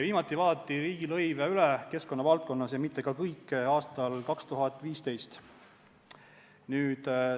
Viimati vaadati riigilõive keskkonnavaldkonnas üle – ja mitte ka kõiki – aastal 2015.